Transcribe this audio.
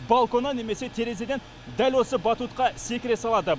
балконнан немесе терезеден дәл осы батутқа секіре салады